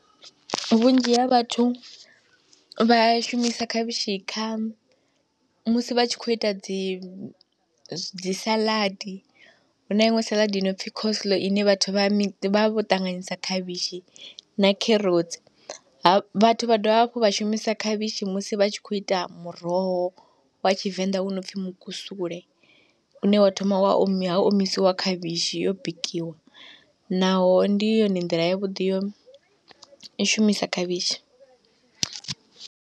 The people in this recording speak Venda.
Vhunzhi ha vhathu vha shumisa khavhishi kha, musi vha tshi khou ita dzi dzi saladi, huna iṅwe saḽadi i no pfhi coleslaw ine vhathu vha mi, vha vha vho ṱanganyisa khavhishi na kherotsi, vhathu vha dovha hafhu vha shumisa khavhishi musi vha tshi khou ita muroho wa tshivenḓa u no pfhi mukusule, une wa thoma wa omi ha omisiwa khavhishi yo bikiwa, naho ndi yone nḓila ya vhuḓi ya u i shumisa khavhishi.